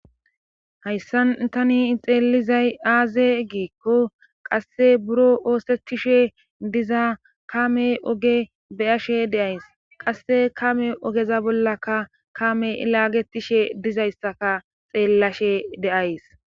hayssan tani xeelizay aaze giikko qasse buro oosettishe diza kame oge beyashe de'ays qasse kame ogeza bollaka kame ilaagetishe dizayssaka xeellashe de'ays